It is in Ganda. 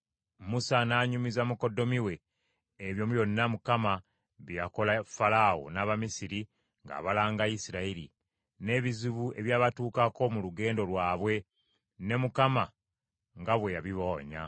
Musa n’anyumiza mukoddomi we ebyo byonna Mukama bye yakola Falaawo n’Abamisiri ng’abalanga Isirayiri; n’ebizibu ebyabatuukako mu lugendo lwabe, ne Mukama nga bwe yabibawonya.